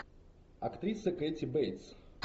актриса кэти бейтс